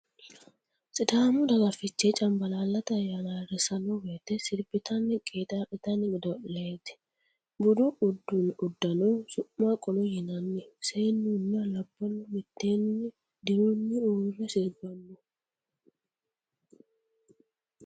Sidaamu daga fichee cambalaallate ayyaana ayirrissanno woyte sirbitanni qeexaa'litanno godo'leeti. Budu uddano su'ma qolo yinnani. seennuna labbalu mitteenni dirunni uurre sirbanno.